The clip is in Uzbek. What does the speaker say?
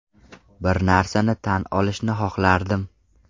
Bir narsani tan olishni xohlardim.